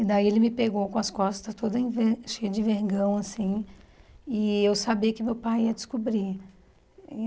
E daí ele me pegou com as costas toda enver cheia de vergão, assim, e eu sabia que meu pai ia descobrir.